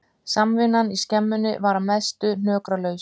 Samvinnan í skemmunni var að mestu hnökralaus